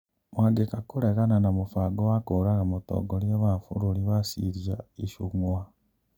Mwangeka kũregana na mũbango wa kũũraga mũtongoria wa bururi wa Syria Icũng'wa.